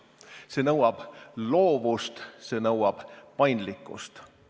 See nõuab loovust, see nõuab paindlikkust.